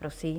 Prosím.